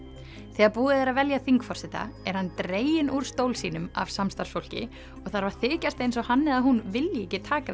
þegar búið er að velja þingforseta er hann dreginn úr stól sínum af samstarfsfólki og þarf að þykjast eins og hann eða hún vilji ekki taka